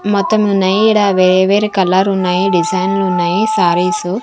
మొత్తం ఉన్నాయి ఈడ వేరే వేరే కలరున్నాయి డిజైన్లు ఉన్నాయి సారీసు .